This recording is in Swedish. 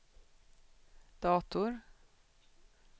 dator